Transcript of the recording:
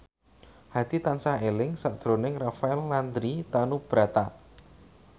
Hadi tansah eling sakjroning Rafael Landry Tanubrata